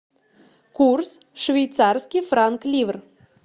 курс швейцарский франк ливр